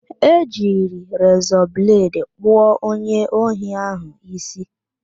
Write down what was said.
E jiri rezọ bledị kpụọ onye ohi ahụ ísí